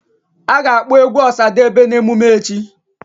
A ga-akpọ egwu Osadebe na emume echi